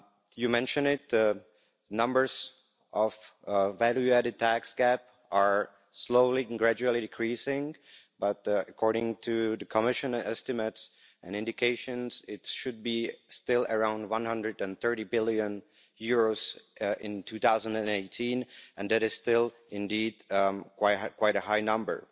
You mentioned that the numbers of the value added tax gap are slowly and gradually decreasing but, according to the Commission estimates and indications, it should still be around EUR 130 billion in 2018 and that is indeed still quite a high number.